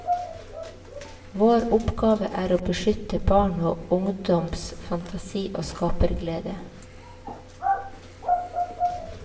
Vår oppgave er å beskytte barn og ungdoms fantasi og skaperglede.